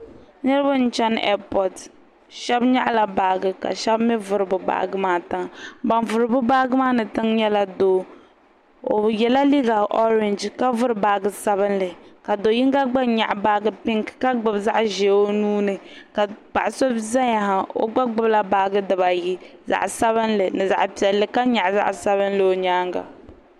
Niriba n chana ɛapɔt shɛba nyaɣi la baaji ka shɛba mi vuri bi baaji maa tiŋa ban vuri bi baaji maa ni tiŋa maa nyɛla doo o yɛla liiga ɔrɛɛnji ka vuri baaji sabinli ka doo yinga gba nyaɣi baaji pink ka gbubi zaɣa ʒee o nuu ni ka paɣa so zaya ha o gba gbubi baaji dibaa ayi zaɣa sabinli ni zaɣa piɛlli ka nyaɣi zaɣa sabinli o nyaanga.